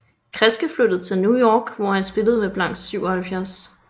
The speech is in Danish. Kresge flyttede til New York hvor han spillede med Blanks 77